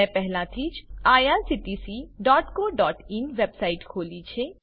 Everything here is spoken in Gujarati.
મેં પહેલાથી જ irctccoઇન વેબસાઈટ ખોલી છે